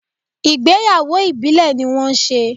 Ìgbéyàwó Ìbílẹ̀ ní wọ́n ṣe.